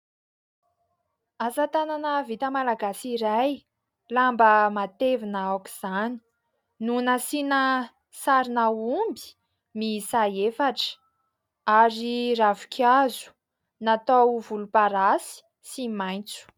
Asa tanana vita malagasy iray, lamba matevina aoka izany no nasiana sarina omby miisa efatra ary ravinkazo natao volomparasy sy maitso.